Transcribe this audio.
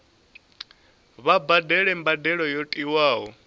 vha badele mbadelo yo tiwaho